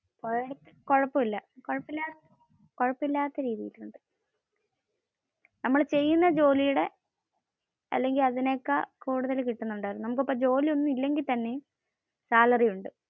പോയ അടുത്ത് കൊഴപ്പമില്ല. കൊഴപ്പമില്ലാത്തതു കിട്ടും. നമ്മൾ ചെയുന്ന ജോലിയുടെ അല്ലെങ്കിൽ അതിനെ കാൾ കൂടുതൽ കിട്ടുന്നുണ്ട്. നമുക് ഇപ്പോ ജോലി ഒന്നും ഇല്ലെങ്കിൽ തന്നെ salary ഉണ്ട്.